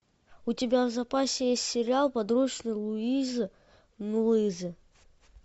у тебя в запасе есть сериал подручный луизы нулизы